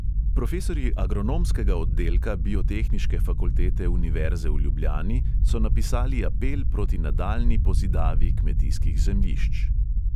Profesorji agronomskega oddelka biotehniške fakultete univerze v ljubljani so napisali apel proti nadaljnji pozidavi kmetijskih zemljišč.